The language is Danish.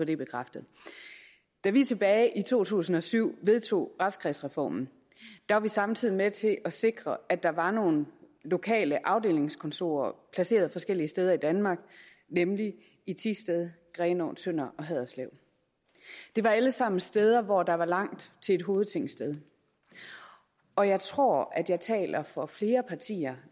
det bekræftet da vi tilbage i to tusind og syv vedtog retskredsreformen var vi samtidig med til at sikre at der var nogle lokale afdelingskontorer placeret forskellige steder i danmark nemlig i thisted grenaa tønder og haderslev det var alle sammen steder hvor der var langt til et hovedtingsted og jeg tror at jeg taler på flere partiers